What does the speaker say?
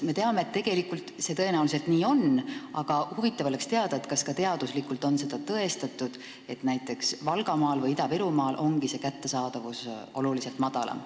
Me teame, et tõenäoliselt see nii on, aga huvitav oleks teada, kas ka teaduslikult on tõestatud, et näiteks Valgamaal või Ida-Virumaal ongi see kättesaadavus oluliselt kehvem.